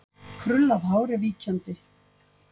Krullað hár er víkjandi.